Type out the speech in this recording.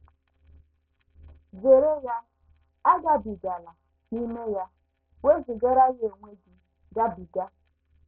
Zere ya, agabigala n’ime ya; wezụgara ya onwe gị, gabiga.